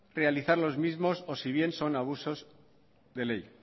realizar los mismos o si bien son abusos del ley